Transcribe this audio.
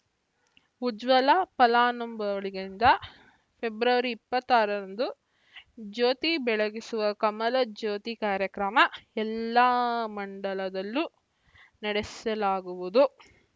ಉಜ್ವಲ ಫಲಾನುಭವಿಗಳಿಂದ ಫೆಬ್ರವರಿ ಇಪ್ಪತ್ತ್ ಆರರಂದು ಜ್ಯೋತಿ ಬೆಳಗಿಸುವ ಕಮಲ ಜ್ಯೋತಿ ಕಾರ್ಯಕ್ರಮ ಎಲ್ಲಾ ಮಂಡಲದಲ್ಲೂ ನಡೆಸಲಾಗುವುದು